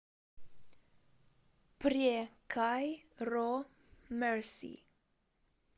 пре кай ро мерси